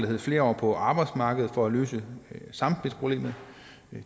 hedder flere år på arbejdsmarkedet for at løse samspilsproblemet